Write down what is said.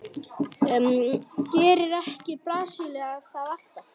Gerir ekki Brasilía það alltaf?